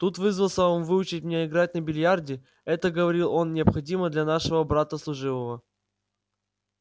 тут вызвался он выучить меня играть на биллиарде это говорил он необходимо для нашего брата служивого